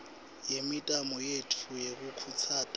yemitamo yetfu yekukhutsata